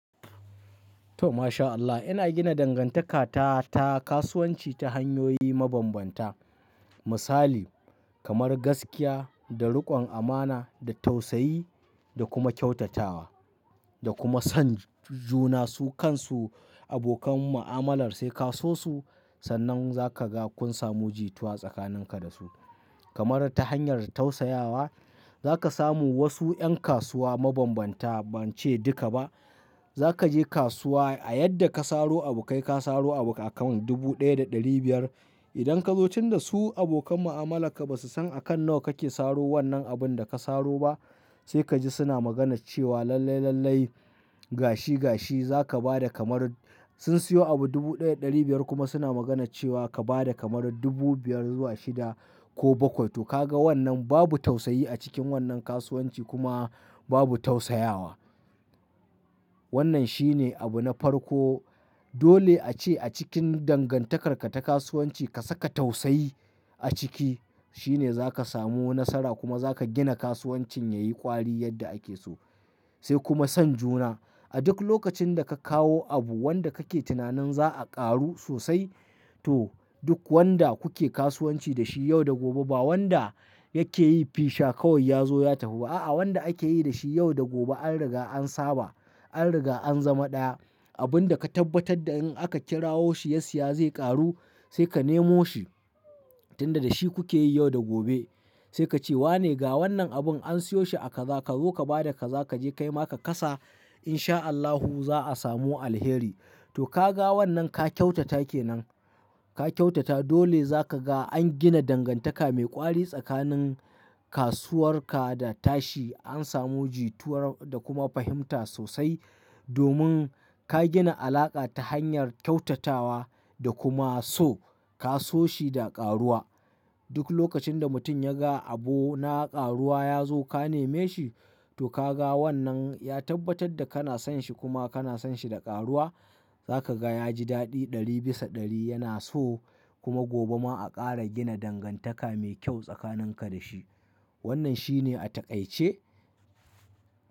To mashAllah ina gina dangantaka ta ta kasuwanci ta hanyoyi mabambanta. Misali kamar gaskiya da riƙon amana da tausayi da kuma kyautatawa da kuma son juna su kansu abokan mu'amalar sai ka so su. Sannan za ka ga kun samu jituwa tsakanin ka da su. Kamar ta hanyar tausayawa za ka samu wasu ƴan kasuwa mabambanta ban ce duka ba. Za ka je kasuwa a yadda ka saro abu kai ka saro abu a kan dubu ɗaya da ɗari biyar. Idan ka zo tun da su abokan mu'amalarka ba su san akan nawa kake saro wannan abun da ka saro ba sai ka ji suna magana cewa lallai lallai gashi gashi za ka ba da kamar sun siyo abu dubu ɗaya da ɗari biyar kuma suna magana cewa ka ba da kamar dubu biyar zuwa shida ko bakwai. To ka ga wannan babu tausayi a cikin wannan kasuwanci kuma babu tausayawa. Wannan shine abu na farko. Dole a ce a cikin dangantakarka ta kasuwanci ka saka tausayi a ciki shine za ka samu nasara kuma za ka gina kasuwancin yayi kwari yadda ake so sai kuma son juna. A duk lokacin da ka kawo abu wanda kake tunanin za a ƙaru sosai to duk wanda kuke kasuwanci da shi yau da gobe ba wanda yake yi fisha kawai ya zo ya tafi ba. A'a wanda ake yi da shi yau da gobe an riga an saba an riga an zama ɗaya. Abun da ka tabbatar da in aka kirawo shi ya siya zai ƙaru sai ka nemo shi tun da da shi kuke yi yau da gobe. Sai ka ce wane ga wannan abun an siyo shi a kaza ka zo ka ba da kaza kaje kai ma ka kasa insha Allahu za a samu alheri. To ka ga wannan ka kyautata kenan ka kyautata dole za ka ga an gina dangantaka mai ƙwari tsakanin kasuwarka da tashi an samu jituwar da kuma fahimta sosai domin ka gina alaƙa ta hanyar kyautatawa da kuma so ka so shi da ƙaruwa. Duk lokacin da mutum ya ga abu na ƙaruwa ya zo ka neme shi to ka ga wannan ya tabbatar da kana son shi kuma kana son shi da ƙaruwa za ka ga ya ji daɗi ɗari bisa ɗari yana so kuma gobe ma a ƙara gina dangantaka mai kyau tsakanin ka da shi. Wannan shine a taƙaice.